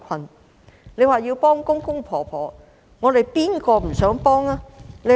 鄺議員說要幫助公公婆婆，誰不想幫助他們呢？